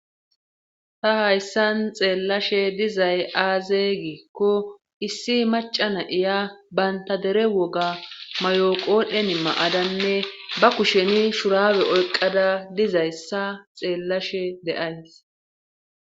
ta hayssan xeellashe dizay aazey giikko issi macana iya bayntadere woga mayoqoodhen ma7adanne ba kusheni shurawe oyqada dizayssa xeellashe de7ays